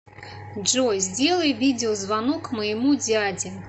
джой сделай видеозвонок моему дяде